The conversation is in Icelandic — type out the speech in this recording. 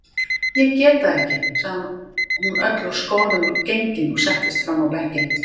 Ég get það ekki, sagði hún öll úr skorðum gengin og settist fram á bekkinn.